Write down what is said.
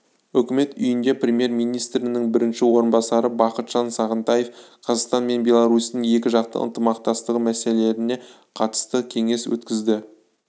үкімет үйінде премьер-министрінің бірінші орынбасары бақытжан сағынтаев қазақстан мен беларусьтің екіжақты ынтымақтастығы мәселелеріне қатысты кеңес өткізді